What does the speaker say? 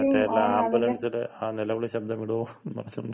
മറ്റേ ആ ആംബുലൻസില് ആ നിലവിളി ശബ്ദം ഇടോ എന്നും പറഞ്ഞോണ്ട്.